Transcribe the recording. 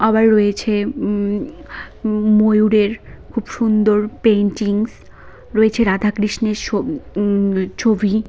রয়েছে উম ময়ূরের খুব সুন্দর পেইন্টিংস রয়েছে রাধাকৃষ্ণের ছ ম ছবি।